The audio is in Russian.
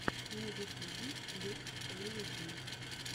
на ютюбе клип элли ди